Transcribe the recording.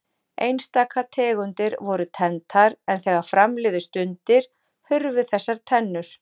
Einstaka tegundir voru tenntar en þegar fram liðu stundir hurfu þessar tennur.